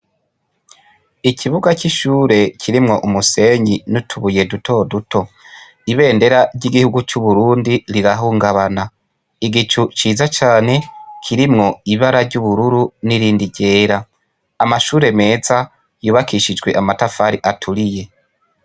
Ikibuga c'ishure kirimwo umusenyi n'utubuye dutoduto. Ibendera ry'igihugu c'Uburundi rirahungabana. Igicu ciza cane kirimwo ibara ry'ubururu n'irindi ryera. Amashure meza yubakishijwe amatafari aturiye.